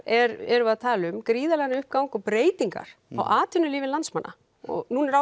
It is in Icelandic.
erum við að tala um gríðarlegan uppgang og breytingar á atvinnulífi landsmanna og nú er